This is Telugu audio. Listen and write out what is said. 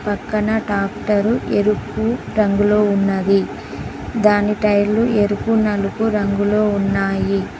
పక్కన ట్రాక్టరు ఎరుపు రంగులో ఉన్నది దాని టైర్లు ఎరుపు నలుపు రంగులో ఉన్నాయి.